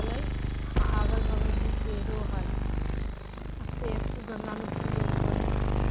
अ अगल-बगल में पेड़ो है अ पेड़ गमला में फूलो रोपल है।